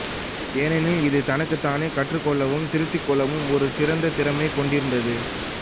ஏனெனில் இது தனக்குத் தானே கற்றுக்கொள்ளவும் திருத்திக் கொள்ளவும் ஒரு சிறந்த திறனைக் கொண்டிருந்தது